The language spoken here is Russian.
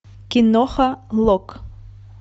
киноха лок